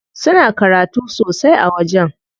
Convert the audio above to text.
Suna karatu sosai a wajen.